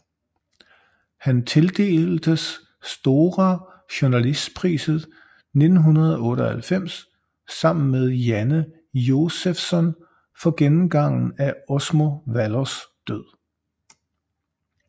Han tildeltes Stora journalistpriset 1998 sammen med Janne Josefsson for gennemgangen af Osmo Vallos død